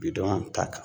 Bidon ta kan